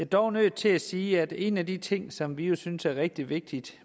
dog nødt til at sige at en af de ting som vi jo synes er rigtig vigtigt